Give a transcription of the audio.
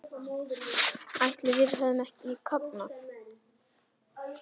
Ætli við hefðum ekki kafnað?